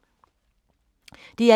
DR1